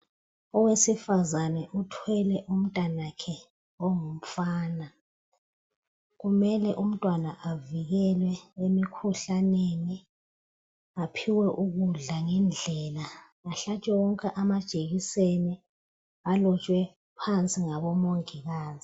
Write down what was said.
Owesifazana uthwele umntanakhe ongumfana kumele umntwana avikelwe emikhuhlaneni aphiwe ukudla ngendlela ahlatshwe wonke amajekiseni alotshwe phansi ngabomongikazi.